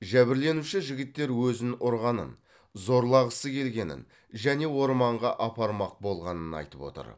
жәбірленуші жігіттер өзін ұрғанын зорлағысы келгенін және орманға апармақ болғанын айтып отыр